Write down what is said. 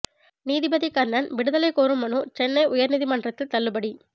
நீதிபதி கர்ணன் விடுதலை கோரும் மனு சென்னை உயர் நீதிமன்றத்தில் தள்ளுபடி